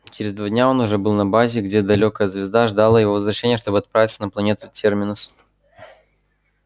через два дня он уже был на базе где далёкая звезда ждала его возвращения чтобы отправиться на планету терминус